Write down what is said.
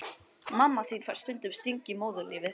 Mamma þín fær stundum stingi í móðurlífið.